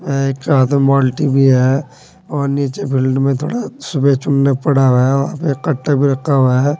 हाथ में बाल्टी भी है और नीचे फील्ड में थोड़ा सूखा चुना पड़ा है वहां पे कट्टे भी रखा हुआ है।